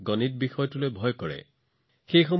বহুতো শিক্ষাৰ্থীয়ে মোলৈ একে ধৰণৰ বাৰ্তা প্ৰেৰণ কৰিছিল